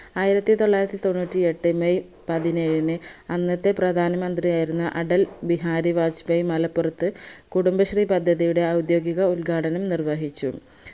ആയിരത്തി തൊള്ളായിരത്തി തൊണ്ണൂറ്റി എട്ട് മെയ് പതിനേഴിന്‌ അന്നത്തെ പ്രധാന മന്ത്രിയായിരുന്ന അടൽ ബിഹാരി ബാജ്പയീ മലപ്പുറത്ത് കുടുംബശ്രീ പദ്ധതിയുടെ ഔദ്യോകിക ഉദ്ഘാടനം നിർവഹിച്ചു